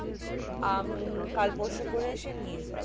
আমি কাল পরশু করে আসে নিয়ে যাবো